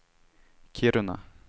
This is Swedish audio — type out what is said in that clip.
Kiruna